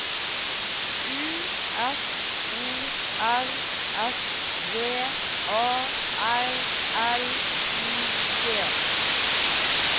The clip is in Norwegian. U F O R S V A R L I G